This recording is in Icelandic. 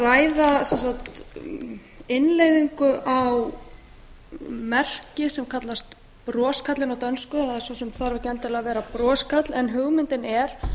að ræða innleiðingu á merki sem kallast broskarlinn á dönsku það svo sem þarf ekki endilega að vera broskarl en hugmyndin er